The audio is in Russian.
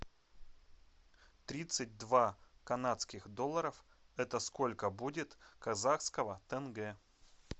тридцать два канадских долларов это сколько будет казахского тенге